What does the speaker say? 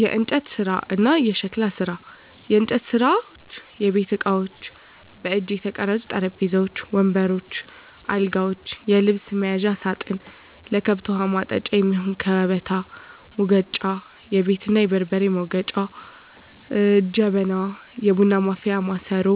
**የእንጨት ስራ እና የሸክላ ስራ፦ *የእንጨት ስራዎች * የቤት እቃዎች: በእጅ የተቀረጹ ጠረጴዛዎች፣ ወንበሮች እና አልጋዎች፣ የልብስ መያዣ ሳጥን፣ ለከብት ውሀ ማጠጫ የሚሆን ከበታ፣ ሙገጫ(የቡና እና የበርበሬ መውገጫ) ጀበና (የቡና ማፍያ ማሰሮ)፣